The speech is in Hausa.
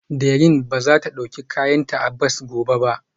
Dẹrín ba za ta ɗauki kayanta a bas gobe ba